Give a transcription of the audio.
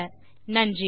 தமிழாக்கம் நித்யா